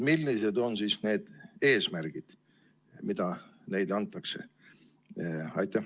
Millised on nüüd need eesmärgid, mida neile antakse?